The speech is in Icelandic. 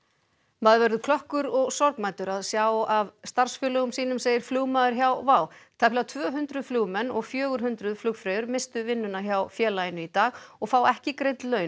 maður verður klökkur og sorgmæddur að sjá af starfsfélögum sínum segir flugmaður hjá WOW tæplega tvö hundruð flugmenn og fjögur hundruð flugfreyjur misstu vinnuna hjá félaginu í dag og fá ekki greidd laun